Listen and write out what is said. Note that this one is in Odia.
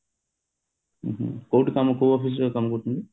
ହୁଁ ହୁଁ କୋଉଠି କମ କୋଉ office ରେ କାମ କରୁଛନ୍ତି